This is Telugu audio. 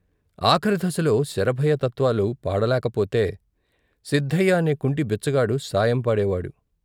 ఆఖరి దశలో శరభయ్య తత్వాలు పాడలేకపోతే సిద్ధయ్య అనే కుంటి బిచ్చగాడు సాయం పాడేవాడు.